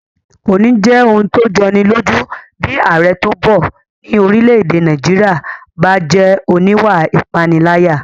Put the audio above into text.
Kò ní jẹ́ ohun tó jọni lójú bí ààrẹ tó bọ̀ ní orílẹ̀-èdè Nàìjíríyà bá jẹ́ oníwà ìpániláyà